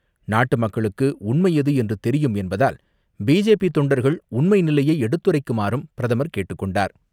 நாட்டு மக்களுக்கு உண்மை எது என்று தெரியும் என்பதால், பிஜேபி தொண்டர்கள் உண்மை நிலையை எடுத்துறைக்குமாறும் பிரதமர் கேட்டுக்கொண்டார்.